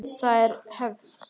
Það er hefð!